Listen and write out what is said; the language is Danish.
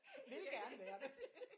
Ville gerne være